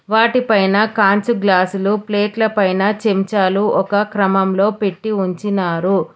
వాటిపైన కాంచు గ్లాసులు ప్లేట్ల పైన చెంచాలు ఒక క్రమంలో పెట్టి ఉంచినారు.